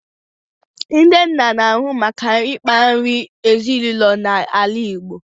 Ndị nna n'ahụ maka ịkpa nri ezinụlọ na ala Igbo